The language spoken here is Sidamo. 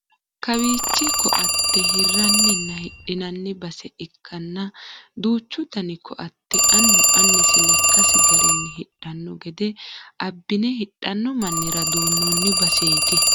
Kawiichi koatte hirranninna hidhinanni base ikkanna duuchu dani koatte annu annisi lekkasi garinni hidhanno gede abnine hidhanno mannira duunnoonni baseeti.